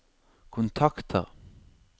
kontakter